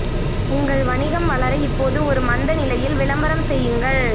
உங்கள் வணிகம் வளர இப்போது ஒரு மந்த நிலையில் விளம்பரம் செய்யுங்கள்